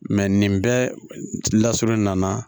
nin bɛɛ lasurunnen nana